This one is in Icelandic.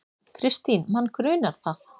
Kristín: Mann grunar það.